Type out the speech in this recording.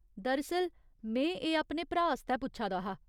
दरअसल, में एह् अपने भ्राऽ आस्तै पुच्छा दा हा।